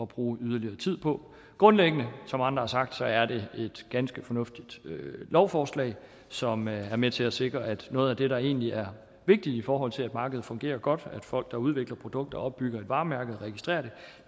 bruge yderligere tid på grundlæggende som andre har sagt er det et ganske fornuftigt lovforslag som er med til at sikre at noget af det der egentlig er vigtigt i forhold til at markedet fungerer godt er at folk der udvikler produkter og opbygger et varemærke og registrerer